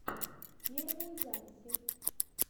первые записи